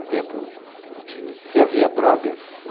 Um tempo de... Se havia drogas...